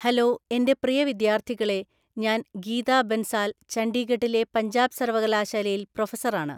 Hello എന്‍റെ പ്രിയ വിദ്യാർത്ഥികളേ ഞാൻ ഗീതാ ബൻസാല്‍ ഛണ്ഡീഗഡിലെ പഞ്ചാബ് സർവകലാശാലയില്‍ പ്രൊഫസറാണ്.